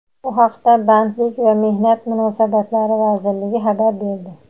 Bu haqda Bandlik va mehnat munosabatlari vazirligi xabar berdi.